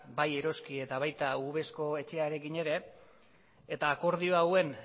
bai eroski eta baita uvesco etxearekin ere eta akordio hauek